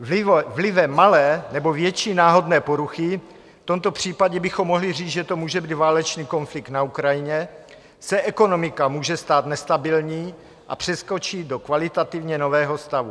Vlivem malé nebo větší náhodné poruchy, v tomto případě bychom mohli říct, že to může být válečný konflikt na Ukrajině, se ekonomika může stát nestabilní a přeskočí do kvalitativně nového stavu.